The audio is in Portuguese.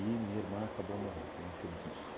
minha irmã acabou morrendo, infelizmente.